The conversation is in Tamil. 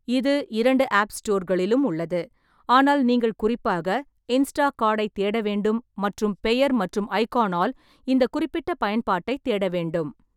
இது இரண்டு ஆப் ஸ்டோர்களிலும் உள்ளது, ஆனால் நீங்கள் குறிப்பாக இன்ஸ்டாகாடைத் தேட வேண்டும் மற்றும் பெயர் மற்றும் ஐகானால் இந்த குறிப்பிட்ட பயன்பாட்டைத் தேட வேண்டும்.